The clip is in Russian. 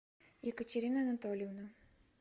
екатерина анатольевна